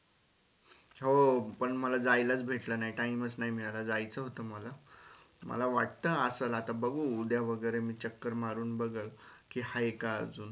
हो पण मला जायलाच भेटल नाही time च नाई मिळाला जायचं होत मला मला वाटत असलं आता बघू उद्या वगेरे मी चक्कर मारून बघल कि हाय का अजून?